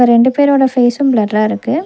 ரெண்டு பேரோட ஃபேஸும் பிளர்ரா இருக்கு.